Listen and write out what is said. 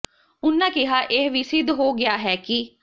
ਉਨ੍ਹਾਂ ਕਿਹਾ ਇਹ ਵੀ ਸਿੱਧ ਹੋ ਗਿਆ ਹੈ ਕਿ